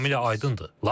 Bu tamamilə aydındır.